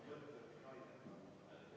Rene Kokk, palun!